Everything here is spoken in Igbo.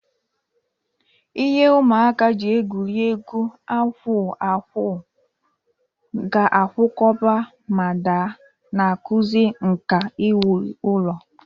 Ihe ụmụaka ji egwuri egwu akwụ akwụ ga-akwakọba ma daa, na-akụzi nka iwu ụlọ.